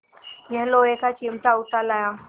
यह लोहे का चिमटा उठा लाया